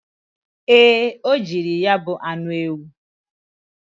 Ee, o jiri ya bu anụ ewu.